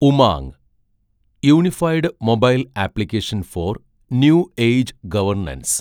UMANG – unified mobile application for new age governance